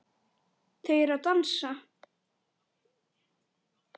Þau eru að dansa